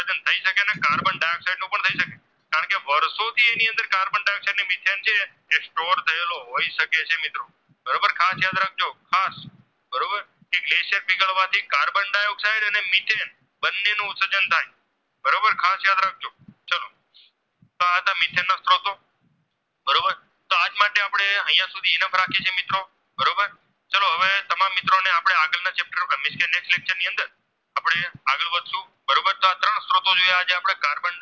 વર્ષો થી એની અંદર Carbon Dioxide ને Methen છે તે Store થયેલો હોય શકે છે મિત્રો